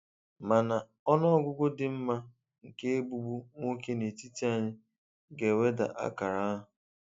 Mana ọnụ ọgụgụ dị mma nke 'Egbugbu' nwoke n'etiti anyị ga-eweda akara ahụ.